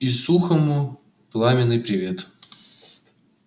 и сухому пламенный привет